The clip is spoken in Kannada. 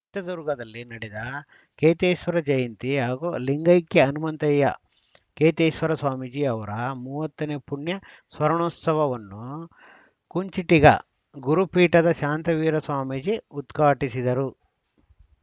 ಚಿತ್ರದುರ್ಗದಲ್ಲಿ ನಡೆದ ಕೇತೇಶ್ವರ ಜಯಂತಿ ಹಾಗೂ ಲಿಂಗೈಕ್ಯ ಹನುಮಂತಯ್ಯ ಕೇತೇಶ್ವರ ಸ್ವಾಮೀಜಿ ಅವರ ಮೂವತ್ತ ನೇ ಪುಣ್ಯ ಸ್ಮರಣೋತ್ಸವವನ್ನು ಕುಂಚಿಟಿಗ ಗುರುಪೀಠದ ಶಾಂತವೀರ ಸ್ವಾಮೀಜಿ ಉದ್ಘಾಟಿಸಿದರು